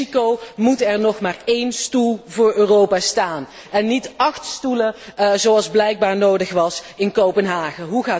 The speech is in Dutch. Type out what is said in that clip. In Mexico moet er nog maar één stoel voor Europa staan en niet acht stoelen, zoals blijkbaar nodig was in Kopenhagen.